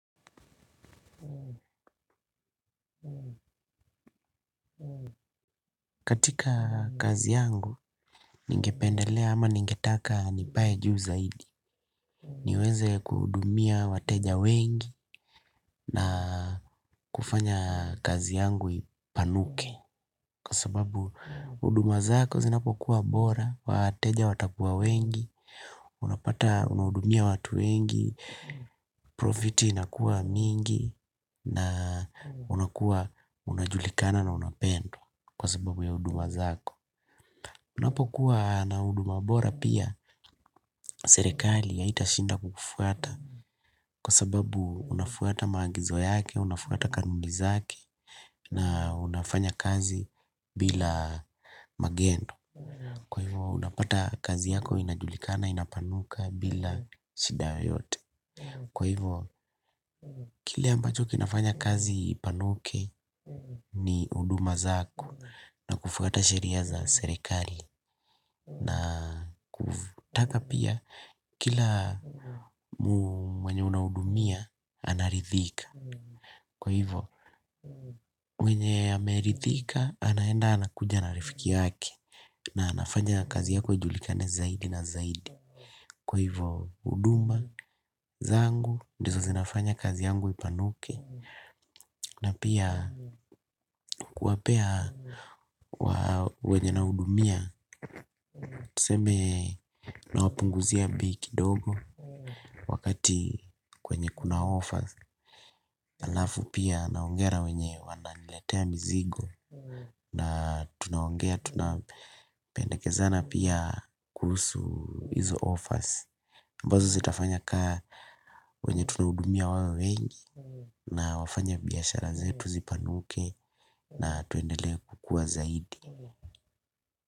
Katika kazi yangu ningependelea ama ningetaka nipae juu zaidi. Niweze kuhudumia wateja wengi na kufanya kazi yangu ipanuke. Kwa sababu huduma zako zinapokuwa bora, wateja watakuwa wengi, unapata unahudumia watu wengi, profiti inakuwa mingi na unakuwa unajulikana na unapendwa kwa sababu ya huduma zako. Unapokuwa na huduma bora pia serikali haitashinda kukufwata kwa sababu unafwata maagizo yake, unafwata kanuni zake na unafanya kazi bila magendo. Kwa hivo unapata kazi yako inajulikana inapanuka bila shida yote. Kwa hivo kile ambacho kinafanya kazi ipanuke ni huduma zako na kufwata sheria za serikali. Na kutaka pia kila mwenye unahudumia anaridhika. Kwa hivo mwenye ameridhika anaenda anakuja na rafiki yake. Na anafanya kazi yako ijulikane zaidi na zaidi. Kwa hivo huduma zangu ndizo zinafanya kazi yangu ipanuke. Na pia kuwapea wenye unahudumia tuseme unawapunguzia bei kidogo wakati kwenye kuna offers, halafu pia naongea na wenye wananiletea mizigo. Na tunaongea tunapendekezana pia kuhusu hizo offers ambazo zitafanya kaa wenye tunahudumia wawe wengi na wafanye biashara zetu zipanuke na tuendele kukua zaidi.